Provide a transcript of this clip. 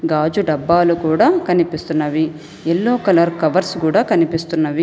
గాజు డబ్బాలు కూడా కనిపిస్తున్నవి ఎల్లో కలర్ కవర్స్ కూడా కనిపిస్తున్నవి.